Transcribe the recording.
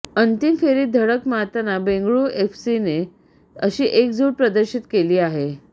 अंतिम फेरीत धडक मारताना बेंगळुरू एफसीने अशी एकजुट प्रदर्शित केली आहे